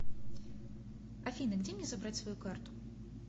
афина где мне забрать свою карту